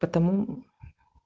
потому